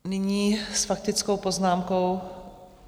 Nyní s faktickou poznámkou...